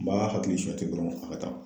N b'a hakili suɲɛ ten dɔrɔn a ka taa